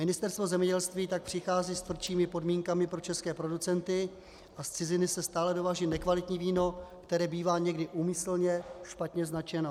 Ministerstvo zemědělství tak přichází s tvrdšími podmínkami pro české producenty, a z ciziny se stále dováží nekvalitní víno, které bývá někdy úmyslně špatně značeno.